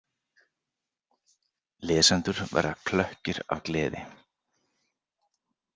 Lesendur verða klökkir af gleði.